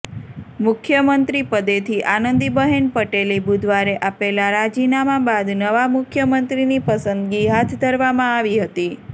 મુખ્યમંત્રીપદેથી આનંદીબહેન પટેલે બુધવારે આપેલાં રાજીનામા બાદ નવા મુખ્યમંત્રીની પસંદગી હાથ ધરવામાં આવી હતી